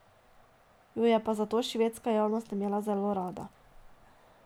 Jo je pa zato švedska javnost imela zelo rada.